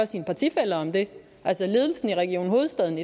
sine partifæller om det altså ledelsen i region hovedstaden